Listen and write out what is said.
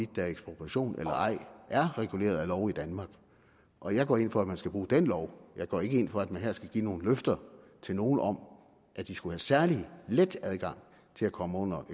der er ekspropriation eller ej reguleret af lov i danmark og jeg går ind for at man skal bruge den lov jeg går ikke ind for at man her skal give nogle løfter til nogle om at de skulle have særlig let adgang til at komme under